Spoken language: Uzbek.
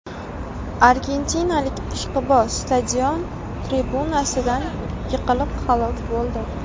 Argentinalik ishqiboz stadion tribunasidan yiqilib halok bo‘ldi.